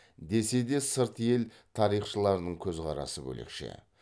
десе де сырт ел тарихшыларының көзқарасы бөлекше